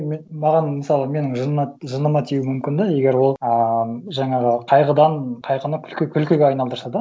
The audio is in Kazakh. маған мысалы менің жыныма тиуі мүмкін де егер ол а жаңағы қайғыдан қайғыны күлкіге айналдырса да